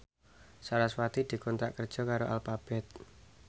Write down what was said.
sarasvati dikontrak kerja karo Alphabet